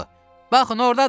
Baxın, ordadır!